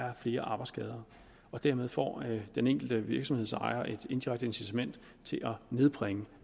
er flere arbejdsskader dermed får den enkelte virksomhedsejer et indirekte incitament til at nedbringe